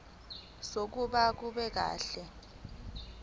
zokuloba akunelisi kahle